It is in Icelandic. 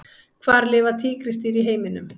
Hvar lifa tígrisdýr í heiminum?